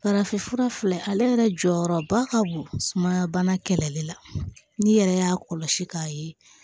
Farafinfura filɛ ale yɛrɛ jɔyɔrɔba ka bon sumaya bana kɛlɛli la n'i yɛrɛ y'a kɔlɔsi k'a ye